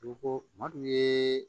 Ko ko kuma d'u ye